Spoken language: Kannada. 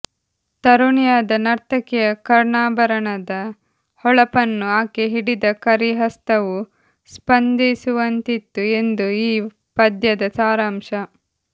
ತರುಣಿಯಾದ ನರ್ತಕಿಯ ಕರ್ಣಾಭರಣದ ಹೊಳಪನ್ನು ಆಕೆ ಹಿಡಿದ ಕರಿ ಹಸ್ತವು ಸ್ಪಧಿಸುವಂತಿತ್ತು ಎಂದು ಈ ಪದ್ಯದ ಸಾರಾಂಶ